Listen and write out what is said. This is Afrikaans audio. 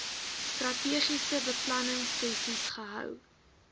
strategiese beplanningsessies gehou